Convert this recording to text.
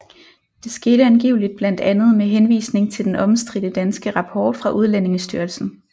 Det skete angiveligt blandt andet med henvisning til den omstridte danske rapport fra Udlændingestyrelsen